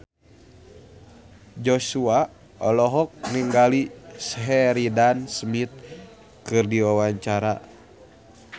Joshua olohok ningali Sheridan Smith keur diwawancara